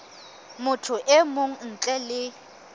motho e mong ntle le